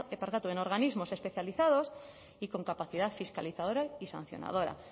en organismos especializados y con capacidad fiscalizadora y sancionadora